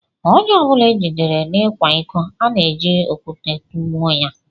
Ónyé ọbula ejidere n'ikwa ịkọ, ana eji okwute tugbuo ya